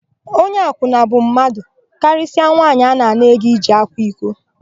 Onye akwụna bụ mmadụ, karịsịa nwaanyị nke na-ana ego iji kwa iko.